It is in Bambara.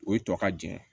O ye tɔ ka jɛn